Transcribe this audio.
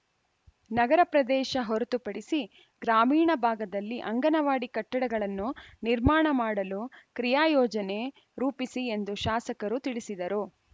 ನಗರ ಪ್ರದೇಶ ಹೊರತುಪಡಿಸಿ ಗ್ರಾಮೀಣ ಭಾಗದಲ್ಲಿ ಅಂಗನವಾಡಿ ಕಟ್ಟಡಗಳನ್ನು ನಿರ್ಮಾಣ ಮಾಡಲು ಕ್ರಿಯಾ ಯೋಜನೆ ರೂಪಿಸಿ ಎಂದು ಶಾಸಕರು ತಿಳಿಸಿದರು